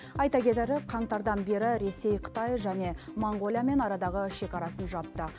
айта кетері қаңтардан бері ресей қытай және моңғолиямен арадағы шекарасын жапты